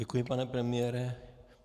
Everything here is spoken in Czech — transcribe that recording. Děkuji, pane premiére.